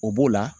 O b'o la